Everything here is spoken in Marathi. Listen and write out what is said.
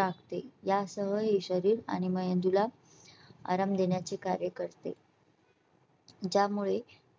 राहते यासह हे शरीर आणि मेंदूला आराम देण्याचे कार्यकर्ते ज्यामुळे